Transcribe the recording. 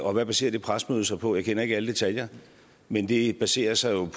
og hvad baserer det pressemøde sig på jeg kender ikke alle detaljer men det baserer sig jo